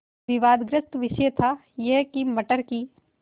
विवादग्रस्त विषय था यह कि मटर की